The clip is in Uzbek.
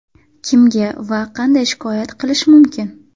Kimga va qanday shikoyat qilish mumkin?